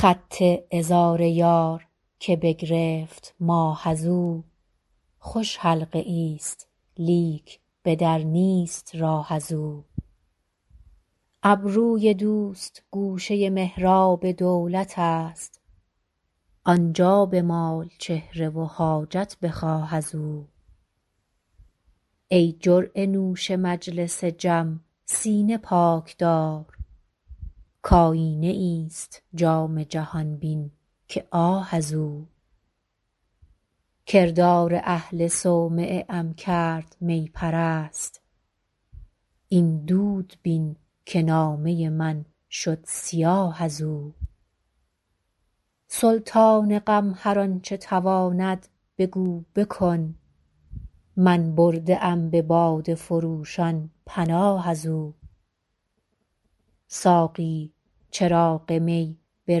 خط عذار یار که بگرفت ماه از او خوش حلقه ای ست لیک به در نیست راه از او ابروی دوست گوشه محراب دولت است آن جا بمال چهره و حاجت بخواه از او ای جرعه نوش مجلس جم سینه پاک دار کآیینه ای ست جام جهان بین که آه از او کردار اهل صومعه ام کرد می پرست این دود بین که نامه من شد سیاه از او سلطان غم هر آن چه تواند بگو بکن من برده ام به باده فروشان پناه از او ساقی چراغ می به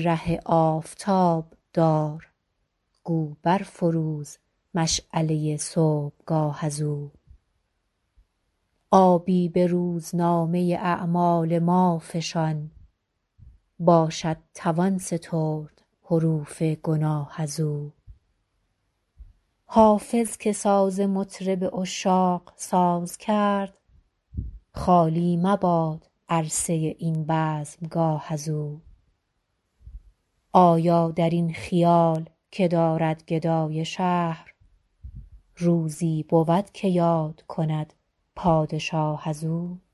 ره آفتاب دار گو بر فروز مشعله صبحگاه از او آبی به روزنامه اعمال ما فشان باشد توان سترد حروف گناه از او حافظ که ساز مطرب عشاق ساز کرد خالی مباد عرصه این بزمگاه از او آیا در این خیال که دارد گدای شهر روزی بود که یاد کند پادشاه از او